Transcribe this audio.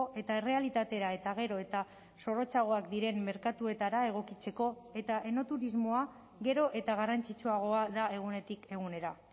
eta errealitatera eta gero eta zorrotzagoak diren merkatuetara egokitzeko eta enoturismoa gero eta garrantzitsuagoa da egunetik egunera